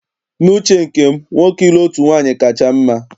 N'uche nke m, nwoke ịlụ otu nwaanyị kacha mma